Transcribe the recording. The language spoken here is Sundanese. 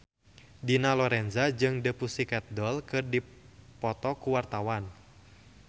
Dina Lorenza jeung The Pussycat Dolls keur dipoto ku wartawan